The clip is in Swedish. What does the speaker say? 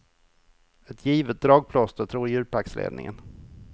Ett givet dragplåster, tror djurparksledningen.